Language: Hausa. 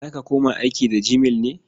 Za ka koma aiki da gmail ne?